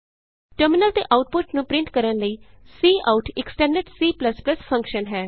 terminal ਤੇ output ਨੂੰ print ਕਰਨ ਲਈ ਕਾਉਟ ਇਕ ਸਟੈਂਡਰਡ C ਫੰਕਸ਼ਨ ਹੈ